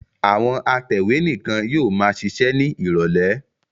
Àwọn atẹ̀wé nìkan ni yóò máa ṣiṣẹ́ ní ìrọ́lẹ́.